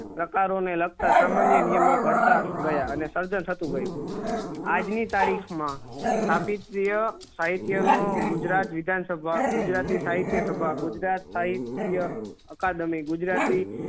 પ્રકારો ને લખતા સામાન્ય નિયમો ધરતા ગયા અને સર્જન થતું ગયું આજ ની તારીખ મા સાહિત્ય નો ગુજરાત વિધાન સભા ગુજરાતી સાહિત્ય સભા ગુજરાત સાહિત્ય અકાદેમી ગુજરાતી